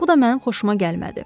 Bu da mənim xoşuma gəlmədi.